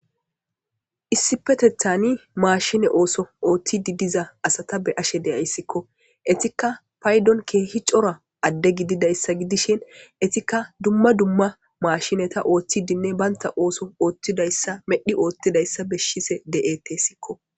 Issippetethani mashinne ooso oothide diza asata be'ashe de'ayskko. Ettikka paydon keehi cora adde gididayssa gidishin ettikka dumma dumma mashinetanne oothidinne banta ooso oothidayssa medhi oothidayssa de'eteesikko.